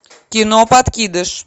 кино подкидыш